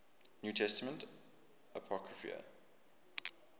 new testament apocrypha